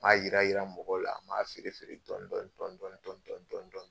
Maa yira yira mɔgɔw la, maa feere feere dɔɔni dɔɔni dɔɔni dɔɔni.